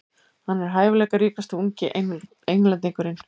Hann er hæfileikaríkasti ungi Englendingurinn.